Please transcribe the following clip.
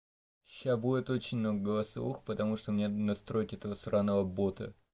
сейчас будет очень много голосовух потому что у меня настройки этого сраного бота